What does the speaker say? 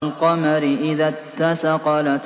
وَالْقَمَرِ إِذَا اتَّسَقَ